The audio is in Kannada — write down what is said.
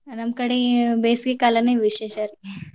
ನಮ್ಮ್ ಕಡೆ ಬೇಸಿಗೆಕಾಲನೇ ವಿಶೇಷ ರೀ.